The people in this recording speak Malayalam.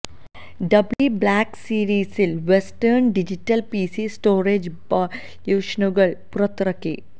ഡബ്ല്യുഡി ബ്ലാക്ക് സീരിസിൽ വെസ്റ്റേൺ ഡിജിറ്റൽ പിസി സ്റ്റോറേജ് സൊല്യൂഷനുകൾ പുറത്തിറക്കി